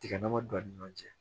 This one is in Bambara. Tiga dama don a ni ɲɔgɔn cɛ